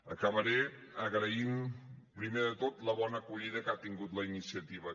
acabaré agraint primer de tot la bona acollida que ha tingut la iniciativa